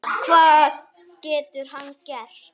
Hvað getur hann gert?